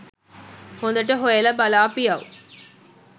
හොදට හොයලා බලාපියව්.